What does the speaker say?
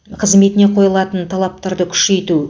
қызметіне қойылатын талаптарды күшейту